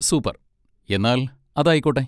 Super! എന്നാൽ അതായിക്കോട്ടെ.